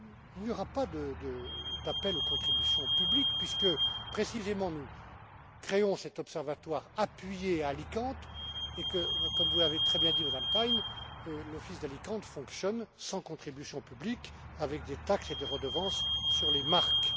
Il n'y aura pas d'appel aux contributions publiques puisque, précisément, nous créons cet observatoire appuyé à Alicante et que, comme vous l'avez très bien dit Madame Thein, l'office d'Alicante fonctionne sans contributions publiques, avec des taxes et des redevances sur les marques.